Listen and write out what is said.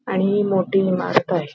आणि ही मोठी इमारत आहे.